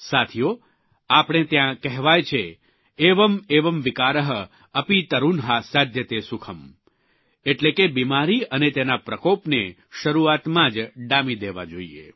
સાથીઓ આપણે ત્યાં કહેવાય છે એવં એવં વિકારઃ અપી તરૂન્હા સાધ્યતે સુખમ્ એટલે કે બિમારી અને તેના પ્રકોપને શરૂઆતમાં જ ડામી દેવા જોઇએ